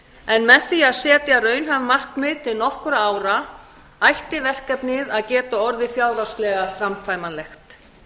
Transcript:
en með því að setja raunhæf markmið til nokkurra ára ætti verkefnið að geta orðið fjárhagslega framkvæmanlegt